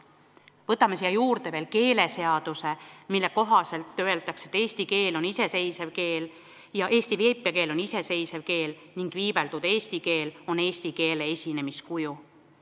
Võtame siia juurde veel keeleseaduse, mille kohaselt öeldakse, et eesti keel on iseseisev keel ja eesti viipekeel on iseseisev keel ning viibeldud eesti keel on eesti keele esinemiskuju.